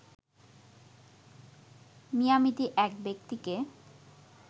মিয়ামিতে এক ব্যক্তিকে